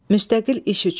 Müstəqil iş üçün.